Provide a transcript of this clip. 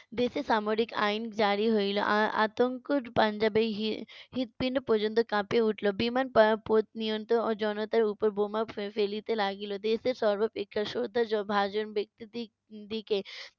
দেশে সামরিক আইন জারি হইলো। আ~ আতঙ্কর পাঞ্জাবের হি~ হৃদপিন্ড পর্যন্ত কাঁপিয়া উঠিলো। বিমান প~ পথ নিয়ন্ত্রণ ও জনতার উপর বোমা ফে~ ফেলিতে লাগিলো। দেশের সর্বাপেক্ষা শ্রদ্ধাভাজন ব্যক্তি টির দিকে